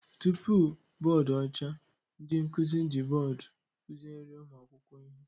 Tupu bọọdụ ọcha, ndị nkụzi ji bọọdụ kụziere ụmụ akwụkwọ ihe